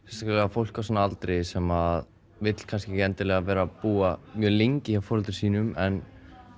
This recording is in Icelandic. fólk á svona aldri sem vill kannski ekki endilega vera að búa mjög lengi hjá foreldrum sínum en